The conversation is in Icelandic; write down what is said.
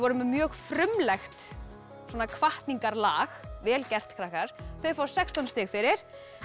með mjög frumlegt vel gert krakkar þau fá sextán stig fyrir